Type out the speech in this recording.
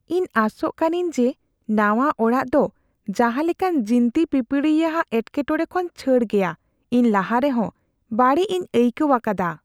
"ᱤᱧ ᱟᱥᱚᱜ ᱠᱟᱹᱱᱟᱹᱧ ᱡᱮ ᱱᱟᱣᱟ ᱚᱲᱟᱜ ᱫᱚ ᱡᱟᱦᱟᱸ ᱞᱮᱠᱟᱱ ᱡᱤᱱᱛᱤ ᱯᱤᱯᱲᱤᱭᱟᱜ ᱮᱠᱴᱮᱴᱚᱲᱮ ᱠᱷᱚᱱ ᱪᱷᱟᱹᱲ ᱜᱮᱭᱟ; ᱤᱧ ᱞᱟᱦᱟ ᱨᱮᱦᱚᱸ ᱵᱟᱹᱲᱤᱡ ᱤᱧ ᱟᱹᱭᱠᱟᱹᱣ ᱟᱠᱟᱫᱟ ᱾"